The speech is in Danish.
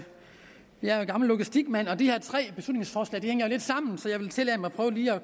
jeg gammel logistikmand og de her tre beslutningsforslag hænger jo lidt sammen så jeg vil tillade mig